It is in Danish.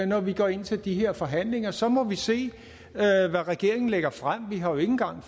når vi går ind til de her forhandlinger så må vi se hvad regeringen lægger frem vi har jo ikke engang